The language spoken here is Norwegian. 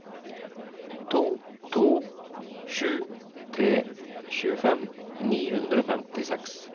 to to sju tre tjuefem ni hundre og femtiseks